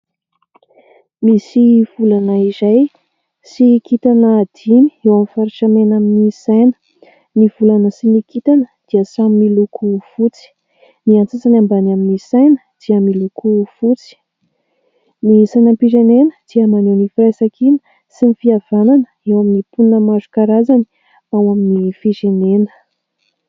Misy volana iray sy kitana dimy eo amin'ny faritra mena amin'ny saina ,ny volana sy ny kitana dia samy miloko fotsy ny antsasany ambany amin'ny saina dia miloko fotsy, ny sainam-pirenena dia maneho ny firaisan-kina sy ny fihavanana eo amin'ny mponina marokarazany ao amin'ny firenena .